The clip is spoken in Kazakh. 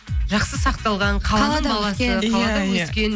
жақсы сақталған қаланың баласы қалада өскен